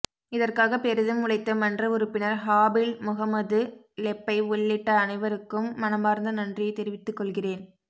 இதற்காக பெரிதும் உழைத்த மன்ற உறுப்பினர் ஹாபிழ் முஹம்மது லெப்பை உள்ளிட்ட அனைவருக்கும் மனமார்ந்த நன்றியை தெரிவித்து கொள்கிறேன்